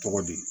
Tɔgɔ di